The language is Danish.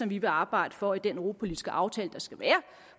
vi vil arbejde for i den europapolitiske aftale der skal være